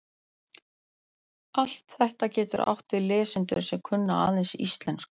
Allt þetta getur átt við lesendur sem kunna aðeins íslensku.